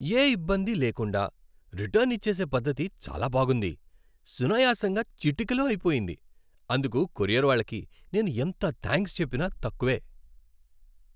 యే ఇబ్బంది లేకుండా రిటర్న్ ఇచ్చేసే పద్ధతి చాలా బావుంది. సునాయసంగా చిటికెలో అయిపోయింది. అందుకు కొరియర్ వాళ్ళకి నేను ఎంత థాంక్స్ చెప్పినా తక్కువే.